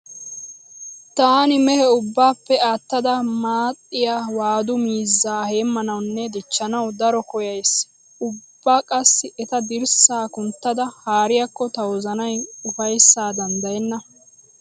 Taani mehe ubbaappe aattada maaxxiya waadu miizzaa heemmanawunne dichchanawu daro koyyays. Ubba qassi eta dirssaa kunttada haariyakko ta wozanay ufayssaa danddayenna.